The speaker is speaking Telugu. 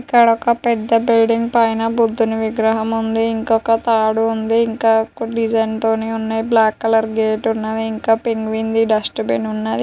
ఇక్కడొక పెద్ద పైన బుద్ధుని విగ్రహం ఉంది. ఇంకొక తాడు ఉంది. ఇంకా డిజైన్ తోని ఉన్నాయ్. బ్లాక్ కలర్ గేట్ ఉన్నవి. ఇంకా పెంగ్విన్ వి డస్ట్ బిన్ ఉన్నవి.